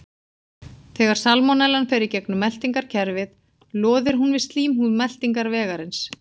Þegar salmonellan fer í gegnum meltingarkerfið loðir hún við slímhúð meltingarvegarins.